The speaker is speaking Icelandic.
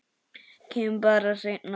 Kem bara seinna.